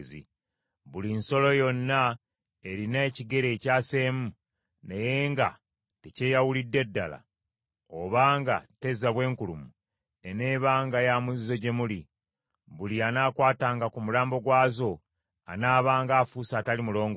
“Buli nsolo yonna erina ekigere ekyaseemu naye nga tekyeyawulidde ddala, oba nga tezza bwenkulumu, eneebanga ya muzizo gye muli. Buli anaakwatanga ku mulambo gwazo anaabanga afuuse atali mulongoofu.